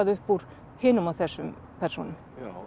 upp úr hinum og þessum persónum